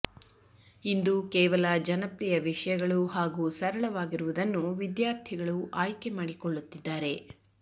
ಇಂದು ಕೇವಲ ಜನಪ್ರಿಯ ವಿಷಯಗಳು ಹಾಗೂ ಸರಳವಾಗಿರುವುದನ್ನು ವಿದ್ಯಾರ್ಥಿಗಳು ಆಯ್ಕೆ ಮಾಡಿಕೊಳ್ಳುತ್ತಿದ್ದಾರೆ